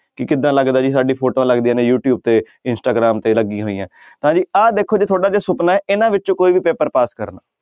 ਕਿ ਕਿੱਦਾਂ ਲੱਗਦਾ ਜੀ ਸਾਡੀ ਫੋਟੋਆਂ ਲੱਗਦੀਆਂ ਨੇ ਯੂ ਟਿਊਬ ਤੇ ਇੰਸਟਾਗ੍ਰਾਮ ਤੇ ਲੱਗੀਆਂ ਹੋਈਆਂ ਤਾਂ ਜੀ ਆਹ ਦੇਖੋ ਜੇ ਤੁਹਾਡਾ ਜੇ ਸੁਪਨਾ ਹੈ ਇਹਨਾਂ ਵਿੱਚੋਂ ਕੋਈ ਵੀ ਪੇਪਰ ਪਾਸ ਕਰਨਾ